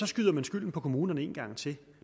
skyder man skylden på kommunerne en gang til